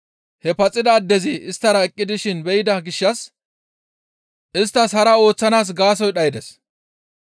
He paxida addezi isttara eqqi dishin be7ida gishshas isttas hara ooththanaas gaasoykka dhaydes.